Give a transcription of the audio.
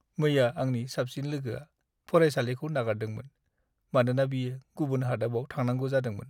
मैया आंनि साबसिन लोगोआ फरायसालिखौ नागारदोंमोन मानोना बियो गुबुन हादाबाव थांनांगौ जादोंमोन।